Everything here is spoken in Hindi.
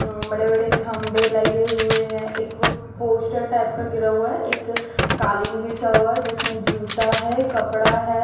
बड़े बड़े खंबे लगे हुए हैं एक पोस्टर टाइप का गिरा हुआ है एक कालीन बिछा हुआ है जिसमें जूता है कपड़ा है।